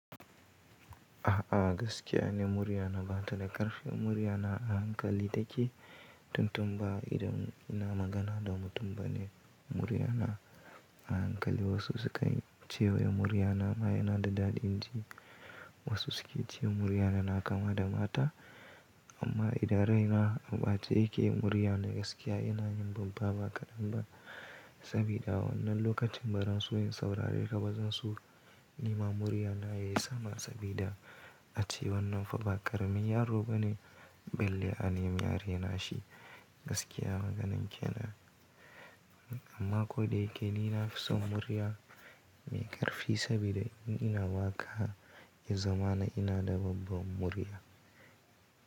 A'a gaskiya ne murya na ba ta da ƙarfi. Murya na a hankali take tun tun ba idan ina magana da mutum ba ne. Murya na a hankali wasu suka ce wai ya murya na ma yana da daɗin ji, wasu su ke ce murya na na kama da mata. Amma idan raina a ɓace yake murya na gaskiya yana yin babba ba kaɗan ba. Sabida wannan lokacin baran so in saurare ka ba zan so, nima murya na yayi sama sabida ace wannan fa ba ƙaramin yaro bane, balle a ne mai arena shi gaskiya maganar kenan. Amma ko da yake ni na fi son murya mai ƙarfi sabida in ina waƙa, ya zama na ina da babba murya.